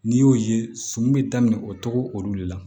N'i y'o ye sun bɛ daminɛ o togo olu de la